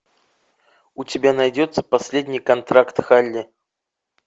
у тебя найдется последний контракт халли